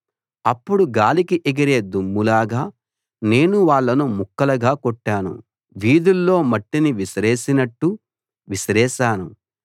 అప్పుడు గాలికి ఎగిరే దుమ్ములాగా నేను వాళ్ళను ముక్కలుగా కొట్టాను వీధుల్లో మట్టిని విసిరేసినట్టు విసిరేశాను